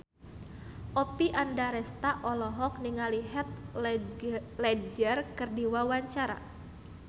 Oppie Andaresta olohok ningali Heath Ledger keur diwawancara